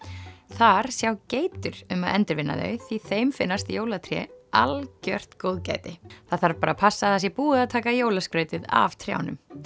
þar sjá geitur um að endurvinna þau því þeim finnst jólatré algjört góðgæti það þarf bara passa að það sé búið að taka jólaskrautið af trjánum